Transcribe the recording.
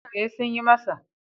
E, Sun yi masa.